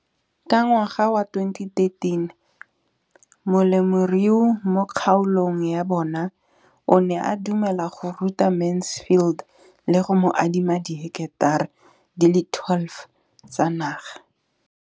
Ka ngwaga wa 2013, molemirui mo kgaolong ya bona o ne a dumela go ruta Mansfield le go mo adima di heketara di le 12 tsa naga.